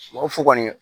O fo kɔni